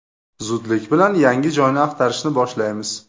Zudlik bilan yangi joyni axtarishni boshlaymiz.